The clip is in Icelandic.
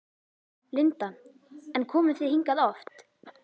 Linda: En komið þið hingað oft?